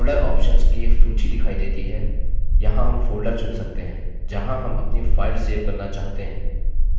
folder options की एक सूची दिखाई देती है यहाँ हम folder चुन सकते हैं जहाँ हम अपनी file सेव करना चाहते हैं